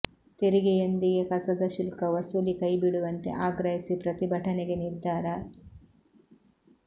ತೆರಿಗೆಯೊಂದಿಗೆ ಕಸದ ಶುಲ್ಕ ವಸೂಲಿ ಕೈ ಬಿಡುವಂತೆ ಆಗ್ರಹಿಸಿ ಪ್ರತಿಭಟನೆಗೆ ನಿರ್ಧಾರ